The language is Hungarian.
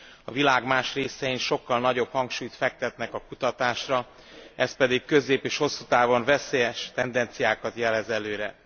A világ más részein sokkal nagyobb hangsúlyt fektetnek a kutatásra, ez pedig közép és hosszú távon veszélyes tendenciákat jelez előre.